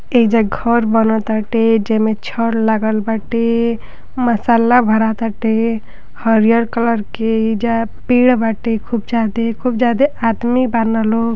एहिजा घर बनटाटे जमें छड़ लागल बाटे मसाला भारत बाटे हरिहर कलर के एहिजा पेड़ बाते। खूब ज्यादे खूब ज्यादे आदमी बना लो।